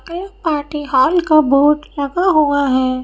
ये party hall का board लगा हुआ है।